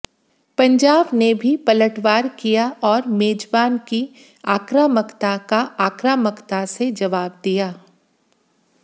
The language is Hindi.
पंजाब ने भी पलटवार किया और मेजबान की आक्रामकता का आक्रामकता से जवाब दिया